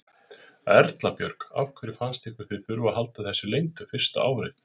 Erla Björg: Af hverju fannst ykkur þið þurfa að halda þessu leyndu fyrsta árið?